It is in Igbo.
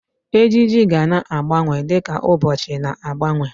Ejiji gana agbanwe di ka ụbọchị na-agbanwe.